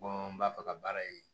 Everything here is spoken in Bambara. n b'a fɛ ka baara ye